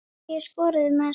Hverjir skoruðu mest?